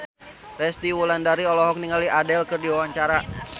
Resty Wulandari olohok ningali Adele keur diwawancara